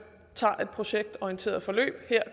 tager et projektorienteret forløb i det her